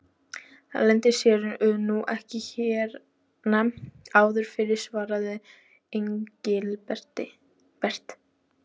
Það leyndi sér nú ekki hérna áður fyrr svaraði Engilbert.